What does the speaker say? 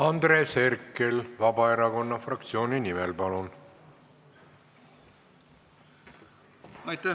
Andres Herkel Vabaerakonna fraktsiooni nimel, palun!